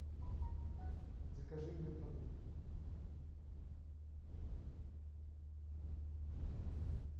закажи мне продукты